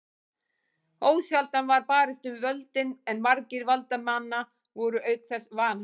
Ósjaldan var barist um völdin en margir valdamanna voru auk þess vanhæfir.